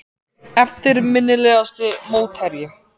Eftirminnilegasti mótherji?